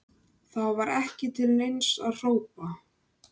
Gvöndur, hvað er á dagatalinu mínu í dag?